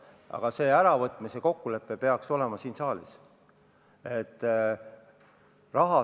Aga see äravõtmise kokkulepe peaks olema tehtud siin saalis.